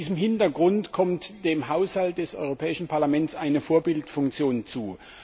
Vor diesem Hintergrund kommt dem Haushalt des Europäischen Parlaments eine Vorbildfunktion zu.